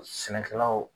Sɛnɛkɛlaw